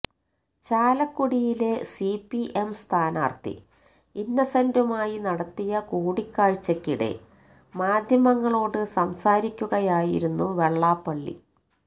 ചാലക്കുടിയിലെ സിപിഎം സ്ഥാനാർത്ഥി ഇന്നസെന്റുമായി നടത്തിയ കൂടിക്കാഴ്ചയ്ക്കിടെ മാധ്യമങ്ങളോട് സംസാരിക്കുകയായിരുന്നു വെള്ളാപ്പള്ളി